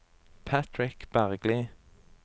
Patrick Bergli